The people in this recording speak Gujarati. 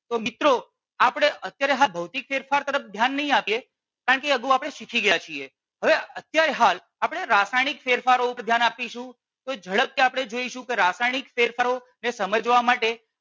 તો મિત્રો આપણે અત્યારે આ ભૌતીક ફેરફારની તરફ ધ્યાન નઈ આપીએ કારણકે કે એ અગાઉ આપણે શીખી ગયા છીએ. હવે અત્યારે હાલ આપણે રાસાયણીક ફેરફારો ઉપર ધ્યાન આપીશુ. એટલે ઝડપથી આપણે જોઈશુ કે રાસાયણીક ફેરફારોને સમજવા માટે